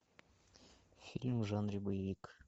фильм в жанре боевик